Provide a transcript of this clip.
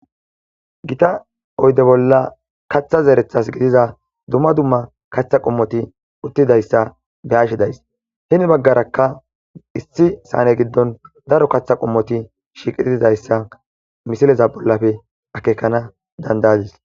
gita oyde bolla kaththa zeerethas gidiza dumma dumma kaththa qommoti uttidayssa behashidays hini baggarakka issi saane giddon daro kaththa qommoti shiiqitidayssa misileza bollafe akekana dandayadis